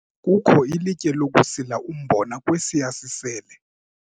Kukho ilitye lokusila umbona kwesiya sisele.